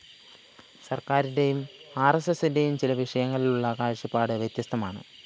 സര്‍ക്കാരിന്റെയും ആര്‍എസ്എസിന്റെയും ചില വിഷയങ്ങളിലുള്ള കാഴ്ചപ്പാടു വ്യത്യസ്തമാണ്